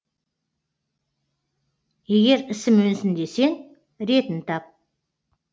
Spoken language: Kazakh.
егер ісім өнсін десең ретін тап